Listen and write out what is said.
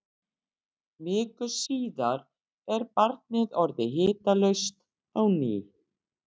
Viku síðar er barnið orðið hitalaust á ný.